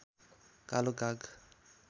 कालो काग